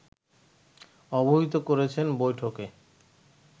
অবহিত করেছেন বৈঠকে